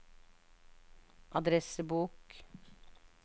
adressebok